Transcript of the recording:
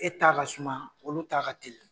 E t'a ka suma olu ta ka teli.